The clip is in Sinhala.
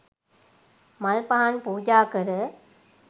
මල් පහන් පූජා කර